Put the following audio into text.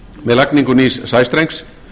með lagningu nýs sæstrengs